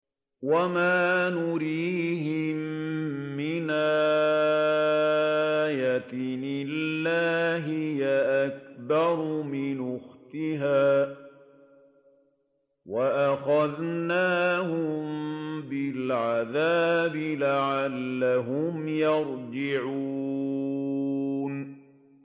وَمَا نُرِيهِم مِّنْ آيَةٍ إِلَّا هِيَ أَكْبَرُ مِنْ أُخْتِهَا ۖ وَأَخَذْنَاهُم بِالْعَذَابِ لَعَلَّهُمْ يَرْجِعُونَ